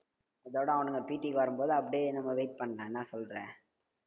இதோட அவனுங்க PT க்கு வரும்போது அப்டியே நம்ம wait பண்ணலா என்னா சொல்ற